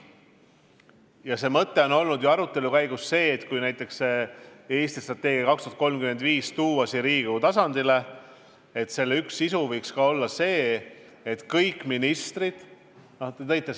Ausalt öelda mõte on olnud see, et kui Eesti strateegia kuni 2035 tuua siia Riigikogu tasandile, siis selle üks pluss võiks tuleneda sellest, et kõik ministrid siin Riigikogu ees ju ei käi.